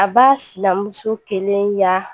A b'a silamuso kelen ya